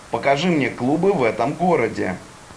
покажи мне клубы в этом городе